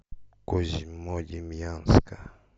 козьмодемьянска